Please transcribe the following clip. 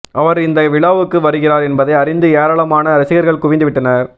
அவர் இந்த விழாவுக்கு வருகிறார் என்பதை அறிந்து ஏராளமான ரசிகர்கள் குவிந்துவிட்டனர்